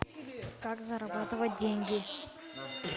как зарабатывать деньги